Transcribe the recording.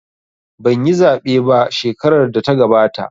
Banyi zaɓe ba shekarar da ta gabata